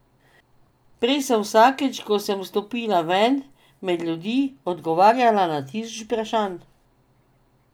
Prej sem vsakič, ko sem stopila ven, med ljudi, odgovarjala na tisoče vprašanj.